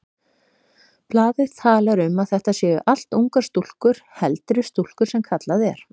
Blaðið talar um að þetta séu allt ungar stúlkur, heldri stúlkur sem kallað er.